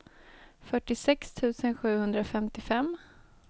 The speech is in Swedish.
fyrtiosex tusen sjuhundrafemtiofem